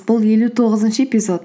бұл елу тоғызыншы эпизод